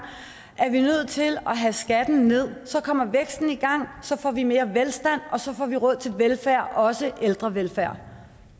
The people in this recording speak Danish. er vi nødt til at have skatten nederst så kommer væksten i gang så får vi mere velstand og så får vi råd til velfærd også ældrevelfærd